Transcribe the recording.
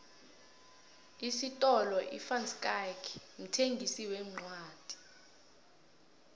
isifolo ivanschaick mthengisi wencwodi